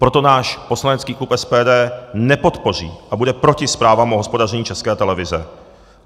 Proto náš poslanecký klub SPD nepodpoří a bude proti zprávám o hospodaření České televize.